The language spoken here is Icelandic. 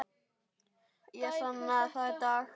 Ég sannaði það í dag.